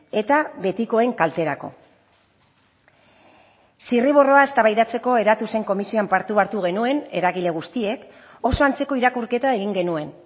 eta betikoen kalterako zirriborroa eztabaidatzeko eratu zen komisioan parte hartu genuen eragile guztiek oso antzeko irakurketa egin genuen